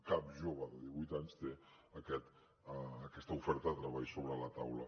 cap jove de divuit anys té aquest aquesta oferta de treball sobre la taula